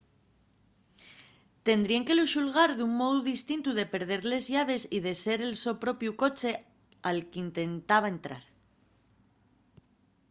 tendríen que lu xulgar d’un mou distintu de perder les llaves y de ser el so propiu coche al qu’intentaba entrar